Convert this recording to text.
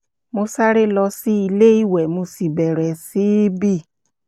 mo sáré lọ sí ilé ìwẹ̀ mo sì bẹ̀rẹ̀ sí í bì